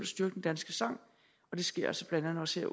styrke den danske sang og det sker sker også